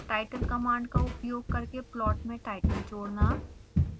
title command का उपयोग करके प्लॉट में टाइटल जोड़ना